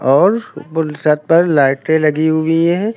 और पूरे छत पर लाइटें लगी हुई हैं।